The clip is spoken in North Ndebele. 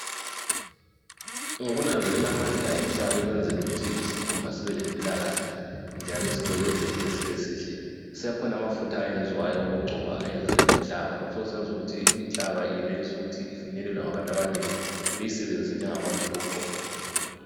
Ngokunanzelela amandla enhlaba ekwenzeni ukuthi isikhumba sibe lempilakahle njalo sicwebezele sibe sihle, sekhona amafutha ayenziwayo owokugcona ayenziwe ngenhlaba. Lokhu sokusenz' ukuthi inhlaba ifinyelelwe ngabantu abanengi, beyisebenzise njengamafuth' okugcoba.